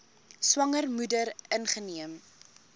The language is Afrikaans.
swanger moeder ingeneem